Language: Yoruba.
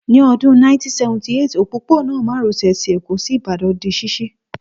Ní Ọdún 1978, òpópónà márosè ti Èkó sí Ìbàdàn di ṣíṣí